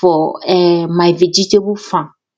for um my vegetable farm